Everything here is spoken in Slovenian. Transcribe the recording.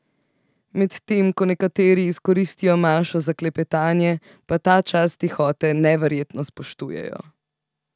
Medtem ko nekateri izkoristijo mašo za klepetanje, pa ta čas tihote neverjetno spoštujejo.